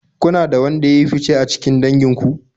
Kuna da wanda ya yi fice a cikin dangin ku?